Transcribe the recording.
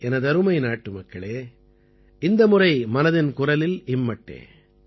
எனதருமை நாட்டுமக்களே இந்த முறை மனதின் குரலில் இம்மட்டே